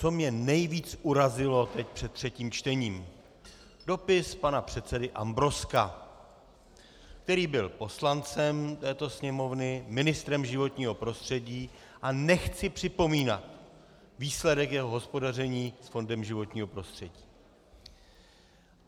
Co mě nejvíc urazilo teď před třetím čtením: dopis pana předsedy Ambrozka, který byl poslancem této Sněmovny, ministrem životního prostředí a nechci připomínat výsledek jeho hospodaření s fondem životního prostředí.